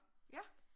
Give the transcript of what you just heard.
Ja